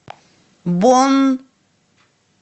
бонн